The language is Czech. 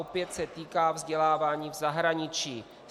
Opět se týká vzdělávání v zahraničí.